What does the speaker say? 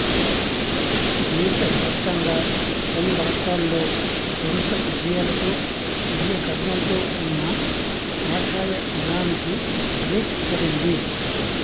దేశ వ్యాప్తంగా పలు రాష్ట్రాల్లో వరుస విజయాలతో విజయగర్వంతో ఉన్న కాషాయ దళానికి బ్రేక్ పడింది